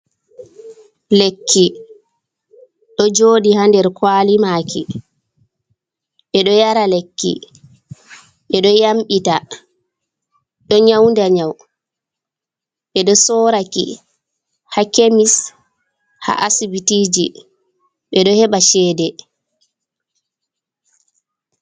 Lekki ɗo joɗi ha nɗer kwalimaki ,ɓe ɗo yara lekki ɓe ɗo yamɓita ,ɗo nyauɗa nyau ɓe ɗo soraki ha kemis ha asiɓitiji ɓe ɗo heɓa cheɗe.